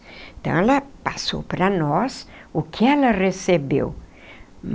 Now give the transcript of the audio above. Então, ela passou para nós o que ela recebeu.